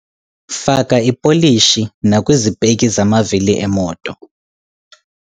Faka ipolishi nakwizipeki zamavili emoto.